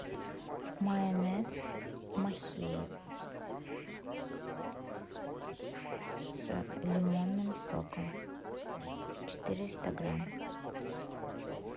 майонез махеев с лимонным соком четыреста грамм